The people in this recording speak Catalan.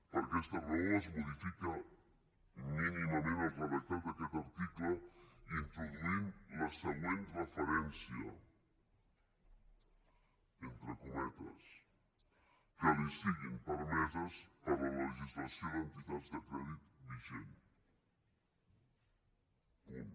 per aquesta raó es modifica mínimament el redactat d’aquest article introduint la següent referència entre cometes que li siguin permeses per la legislació d’entitats de crèdit vigent punt